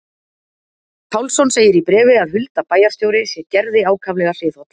Pálsson segir í bréfi að Hulda bæjarstjóri sé Gerði ákaflega hliðholl.